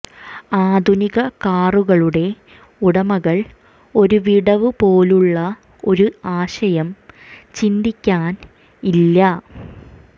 ആധുനിക കാറുകളുടെ ഉടമകൾ ഒരു വിടവ് പോലുള്ള ഒരു ആശയം ചിന്തിക്കാൻ ഇല്ല